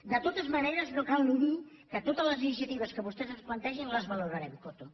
de totes maneres no cal ni dir que totes les iniciatives que vostès ens plantegin les valorarem coto